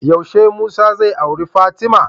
Yaushe musa zai auri fatima?